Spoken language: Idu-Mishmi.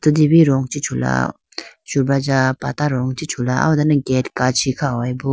rong chi chula subraja patta rong chi chula aw ho done gate kachi kha howayi bo.